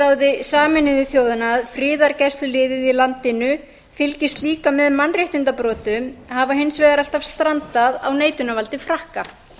öryggisráði sameinuðu þjóðanna að friðargæsluliðið í landinu fylgist líka með mannréttindabrotum hafa hins vegar alltaf strandað á neitunarvaldi frakka